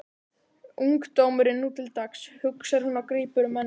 Ungdómurinn nú til dags, hugsar hann og grípur um ennið.